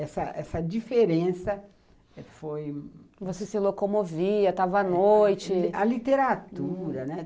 Essa essa diferença foi... Você se locomovia, estava à noite... A literatura, né?